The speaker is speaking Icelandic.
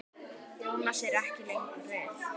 Jónas er ekki lengur við.